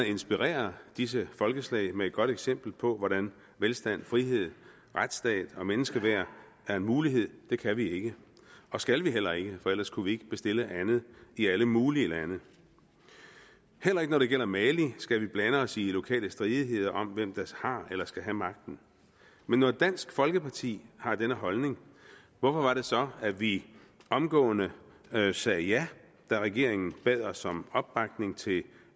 at inspirere disse folkeslag med et godt eksempel på hvordan velstand frihed retsstat og menneskeværd er en mulighed kan vi ikke og skal vi heller ikke for ellers kunne vi ikke bestille andet i alle mulige lande heller ikke når det gælder mali skal vi blande os i lokale stridigheder om hvem der har eller skal have magten men når dansk folkeparti har denne holdning hvorfor var det så at vi omgående sagde ja da regeringen bad os om opbakning til